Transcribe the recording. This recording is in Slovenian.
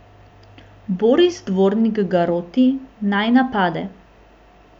Boris Dvornik ga roti, naj napade.